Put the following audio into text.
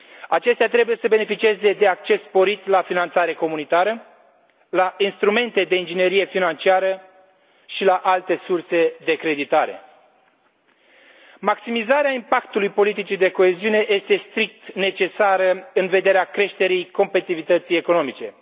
Acestea trebuie să beneficieze de acces sporit la finanțare comunitară, la instrumente de inginerie financiară și la alte surse de creditare. Maximizarea impactului politicii de coeziune este strict necesară în vederea creșterii competitivității economice.